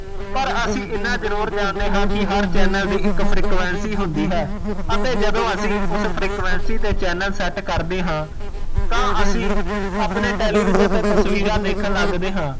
ਪਰ ਅਸੀਂ ਇਨ੍ਹਾਂ ਜਰੂਰ ਜਾਣਦੇ ਹੈ ਕਿ ਹਰ ਚੈਨਲ ਦੀ ਇੱਕ frequency ਹੁੰਦੀ ਹੈ ਅਤੇ ਜਦੋ ਅਸੀਂ ਉਸ frequency ਤੇ ਚੈਨਲ ਸੈੱਟ ਕਰਦੇ ਹਾਂ ਤਾ ਅਸੀਂ ਆਪਣੇ television ਤੇ ਤਸਵੀਰਾਂ ਦੇਖਣ ਲੱਗਦੇ ਹਾਂ